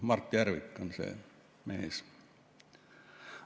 Mart Järvik on see mees.